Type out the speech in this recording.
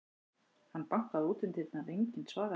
Hann bankaði á útidyrnar, en enginn svaraði.